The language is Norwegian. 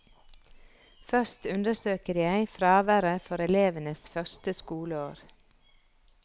Først undersøker jeg fraværet for elevenes første skoleår.